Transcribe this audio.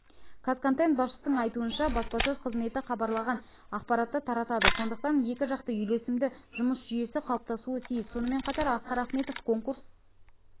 қазконтент басшысының айтуынша баспасөз қызметі хабарлаған ақпаратты таратады сондықтан екі жақты үйлесімді жұмыс жүйесі қалыптасуы тиіс сонымен қатар асқар ахметов конкурс